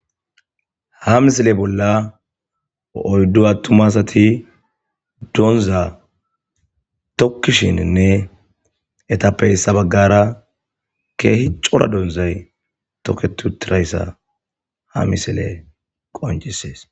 Ha misile bolla oydu attuma asati dooza tokishenne eetape issi bagara c'ora doozati toketi uttidaysa ha misiley qonc'isses.